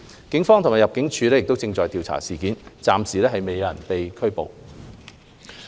警方及入境事務處正調查事件，目前暫未有人士被捕。